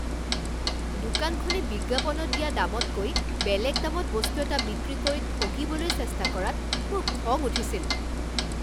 দোকানখনে বিজ্ঞাপনত দিয়া দামতকৈ বেলেগ দামত বস্তু এটা বিক্ৰী কৰি ঠগিবলৈ চেষ্টা কৰাত মোৰ খং উঠিছিল।